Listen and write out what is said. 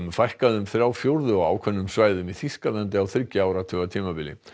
fækkaði um þrjá fjórðu á ákveðnum svæðum í Þýskalandi á þriggja áratuga tímabili